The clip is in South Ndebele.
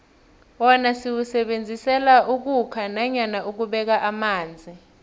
wona siwusebenzisela ukhukha nanyana ukubeka amanzi